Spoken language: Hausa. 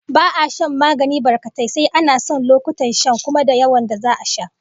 Ba'a shan magani barkatai, sai an san lokutan shan, kuma da yawan da za'a sha